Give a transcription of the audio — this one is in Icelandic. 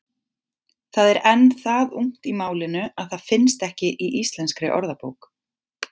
Það er enn það ungt í málinu að það finnst ekki í Íslenskri orðabók.